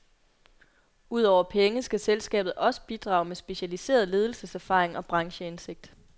Ud over penge skal selskabet også bidrage med specialiseret ledelseserfaring og brancheindsigt.